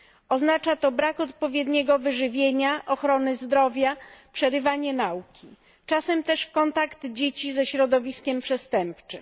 Oznacza to brak odpowiedniego wyżywienia, ochrony zdrowia, przerywanie nauki, czasem też kontakt dzieci ze środowiskiem przestępczym.